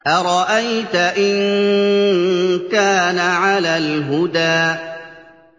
أَرَأَيْتَ إِن كَانَ عَلَى الْهُدَىٰ